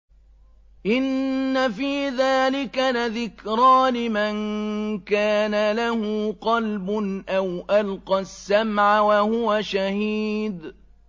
إِنَّ فِي ذَٰلِكَ لَذِكْرَىٰ لِمَن كَانَ لَهُ قَلْبٌ أَوْ أَلْقَى السَّمْعَ وَهُوَ شَهِيدٌ